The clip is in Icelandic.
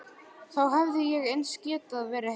Þá hefði ég eins getað verið heima.